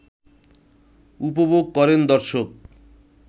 উপভোগ করেন দর্শক